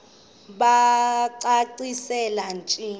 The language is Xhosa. bacacisele intsi ngiselo